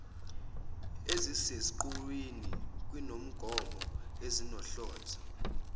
eziseqhulwini kwinqubomgomo esizihlonzile